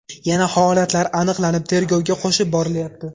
Yana holatlar aniqlanib, tergovga qo‘shib borilyapti.